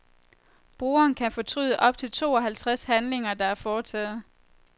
Brugeren kan fortryde op til to halvtreds handlinger, der er foretaget.